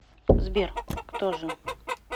сбер кто же